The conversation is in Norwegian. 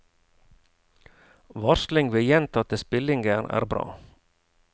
Varsling ved gjentatte spillinger er bra.